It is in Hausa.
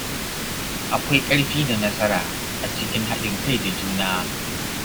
Akwai ƙarfi da nasara a cikin haɗin kai da juna.